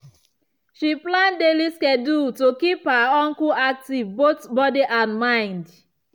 she plan daily schedule to keep her uncle active both body and mind.